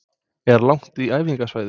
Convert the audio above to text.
Er langt í æfingasvæðið?